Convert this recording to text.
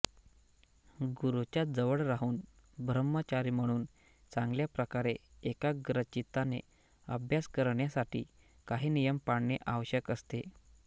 गुरुच्या जवळ राहून ब्रह्मचारी म्हणून चांगल्या प्रकारे एकाग्रचित्ताने अभ्यास करण्यासाठी काही नियम पाळणे आवश्यक असते